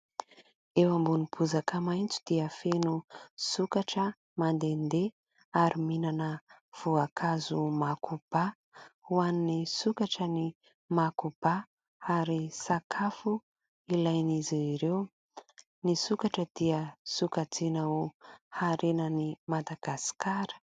Eo ambonin'ny bozaka maitso dia feno sokatra mandehandeha ary mihinana voankazo makoba; ho an'ny sokatra ny makoba ary sakafo ilain'izy ireo. Ny sokatra dia sokajiana ho harenan' i Madagasikara.